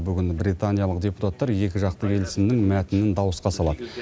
бүгін британиялық депутаттар екіжақты келісімнің мәтінін дауысқа салады